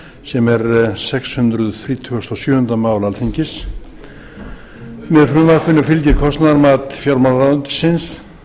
sem er sex hundruð þrítugustu og sjöunda mál alþingis með frumvarpinu fylgir kostnaðarmat fjármálaráðuneytisins